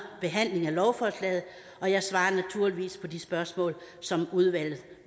behandling af lovforslaget og jeg svarer naturligvis på de spørgsmål som udvalget